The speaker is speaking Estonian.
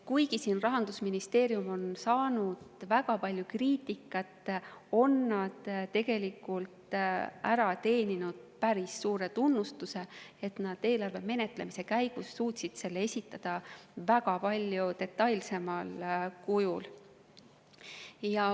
Kuigi Rahandusministeerium on saanud väga palju kriitikat, on nad tegelikult ära teeninud päris suure tunnustuse, et nad eelarve menetlemise käigus suutsid selle esitada palju detailsemal kujul.